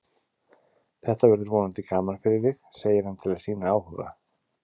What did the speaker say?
Þetta verður vonandi gaman fyrir þig, segir hann til að sýna áhuga.